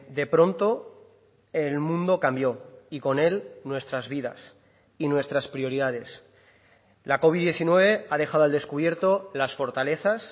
de pronto el mundo cambió y con él nuestras vidas y nuestras prioridades la covid diecinueve ha dejado al descubierto las fortalezas